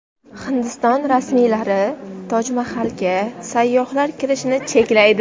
Hindiston rasmiylari Toj Mahalga sayyohlar kiritilishini cheklaydi.